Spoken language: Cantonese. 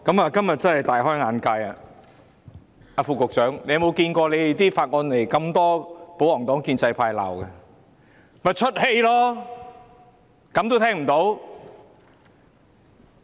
主席，我今天真的大開眼界，副局長有否看過提交的法案被這麼多保皇黨和建制派議員批評？